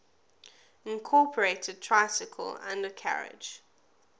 incorporated tricycle undercarriage